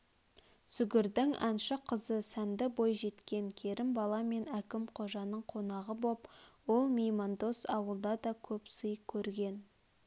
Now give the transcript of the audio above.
сүгірдің әнші қызы сәнді бойжеткен керімбала мен әкім қожаның қонағы боп ол меймандос ауылда да көп сый көрген